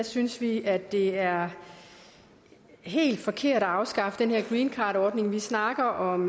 synes vi at det er helt forkert at afskaffe den her greencardordning vi snakker om